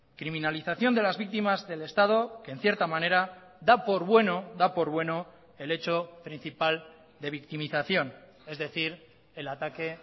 criminalización de las víctimas del estado que en cierta manera da por bueno da por bueno el hecho principal de victimización es decir el ataque